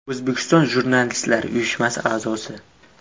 O‘zbekiston jurnalistlari uyushmasi a’zosi.